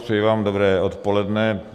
Přeji vám dobré odpoledne.